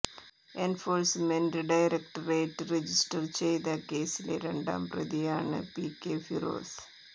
enforcement directorate register ചെയ്ത കേസിലെ രണ്ടാം പ്രതിയാണ് പി കെ ഫിറോസ്